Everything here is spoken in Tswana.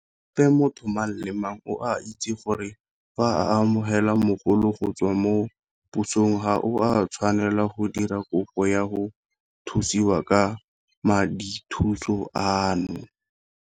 Gape motho mang le mang o a itse gore fa o amogela mogolo go tswa mo pusong ga o a tshwanela go dira kopo ya go thusiwa ka madithuso ano.